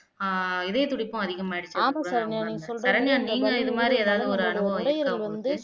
ஆஹ் இதயத்துடிப்பும் அதிகமாயிருச்சு சரண்யா நீங்க இதை மாதிரி எதாவது ஒரு அனுபவம் இருக்கா உங்களுக்கு